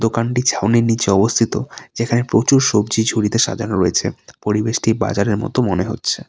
দোকানটি ছাউনির নীচে অবস্থিত যেখানে প্রচুর সবজি ঝুড়িতে সাজানো রয়েছে পরিবেশটি বাজারের মতো মনে হচ্ছে।